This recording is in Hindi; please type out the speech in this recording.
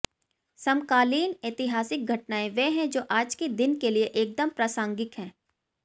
समकालीन ऐतिहासिक घटनाएं वे हैं जो आज के दिन के लिए एकदम प्रासंगिक हैं